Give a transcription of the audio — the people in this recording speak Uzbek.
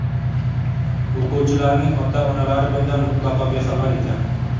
O‘quvchilarning ota-onalari bundan mutlaqo bexabar ekan.